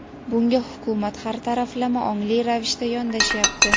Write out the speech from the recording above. bunga Hukumat har taraflama ongli ravishda yondashyapti.